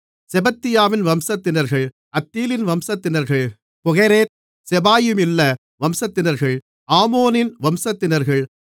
செபத்தியாவின் வம்சத்தினர்கள் அத்தீலின் வம்சத்தினர்கள் பொகெரேத் செபாயிமிலுள்ள வம்சத்தினர்கள் ஆமோனின் வம்சத்தினர்கள்